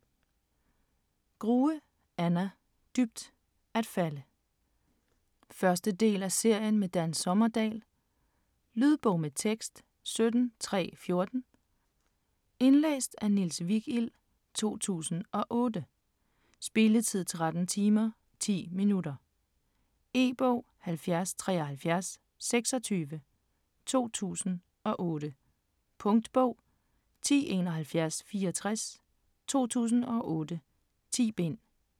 Grue, Anna: Dybt at falde 1. del af serien med Dan Sommerdahl. Lydbog med tekst 17314 Indlæst af Niels Vigild, 2008. Spilletid: 13 timer, 10 minutter. E-bog 707326 2008. Punktbog 107164 2008. 10 bind.